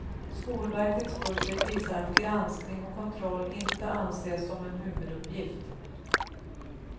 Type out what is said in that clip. Skolverkets budget visar att granskning och kontroll inte anses som en huvuduppgift.